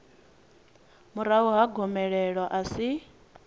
murahu ha gomelelo a si